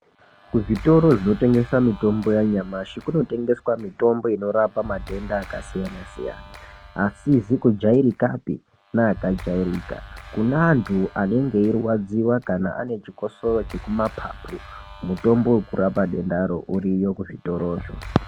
Kuzvitoro zvinotengesa mutombo yanyamashi kunotengeswa mitombo inorapa matenda akasiyana-siyana, asizi kujairikapi neakajairika kuneantu anenge eirwadziwa kana ane chikosoro chekumapapu, mutombo wekurapa dendaro uriyo kuzvitorozvo.